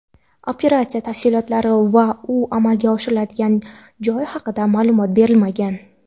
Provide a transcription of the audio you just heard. Operatsiya tafsilotlari va u amalga oshirilgan joy haqida ma’lumot berilmagan.